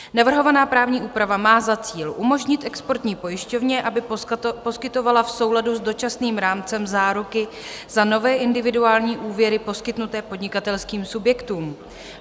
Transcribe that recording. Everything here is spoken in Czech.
Navrhovaná právní úprava má za cíl umožnit exportní pojišťovně, aby poskytovala v souladu s Dočasným rámcem záruky za nové individuální úvěry poskytnuté podnikatelským subjektům.